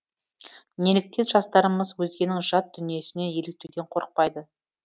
неліктен жастарымыз өзгенің жат дүниесіне еліктеуден қорықпайды